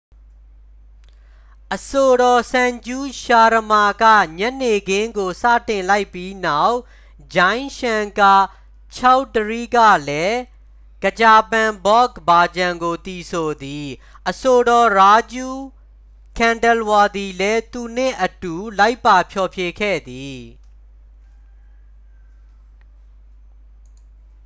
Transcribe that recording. အဆိုတော် ဆန်ဂျူး ရှာရမာက ညနေခင်းကို စတင်လိုက်ပြီးနောက် ဂျိုင်း ရှန်ကာ ချောက်ဒရီကလည်း ခချာပန် ဘော့ဂ် ဘာဂျန်ကို သီဆိုသည် အဆိုတော် ရာဂျူး ခန်ဒဲလ်ဝါသည်လည်း သူနှင့်အတူ လိုက်ပါဖျော်ဖြေခဲ့သည်